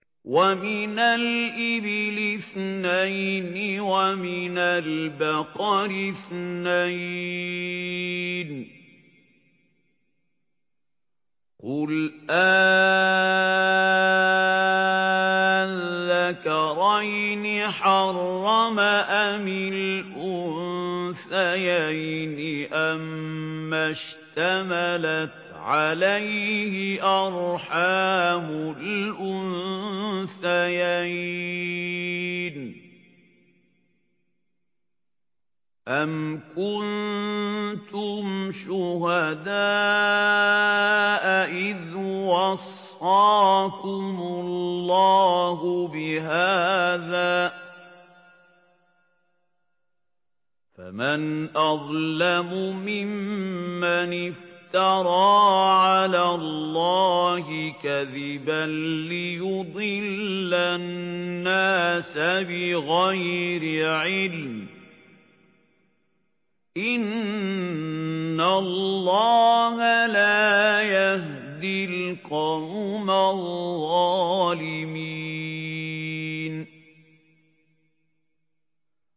وَمِنَ الْإِبِلِ اثْنَيْنِ وَمِنَ الْبَقَرِ اثْنَيْنِ ۗ قُلْ آلذَّكَرَيْنِ حَرَّمَ أَمِ الْأُنثَيَيْنِ أَمَّا اشْتَمَلَتْ عَلَيْهِ أَرْحَامُ الْأُنثَيَيْنِ ۖ أَمْ كُنتُمْ شُهَدَاءَ إِذْ وَصَّاكُمُ اللَّهُ بِهَٰذَا ۚ فَمَنْ أَظْلَمُ مِمَّنِ افْتَرَىٰ عَلَى اللَّهِ كَذِبًا لِّيُضِلَّ النَّاسَ بِغَيْرِ عِلْمٍ ۗ إِنَّ اللَّهَ لَا يَهْدِي الْقَوْمَ الظَّالِمِينَ